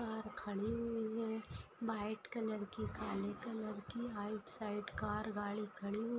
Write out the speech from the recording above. car खड़ी हुई है व्हाइट कलर की काले कलर की राइट साइड कार गाड़ी खड़ी हु--